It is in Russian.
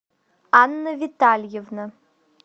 анна витальевна